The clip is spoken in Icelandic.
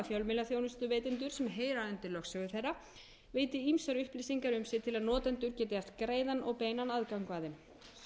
fjölmiðlaþjónustuveitendum sem heyra undir lögsögu þeirra veiti ýmsar upplýsingar til að notendur geti haft beinan og greiðan aðgang að þeim hér má bæta við að